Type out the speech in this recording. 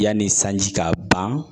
Yanni sanji ka ban